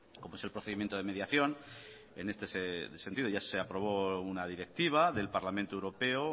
como es el procedimiento de mediación en este sentido ya se aprobó una directiva del parlamento europeo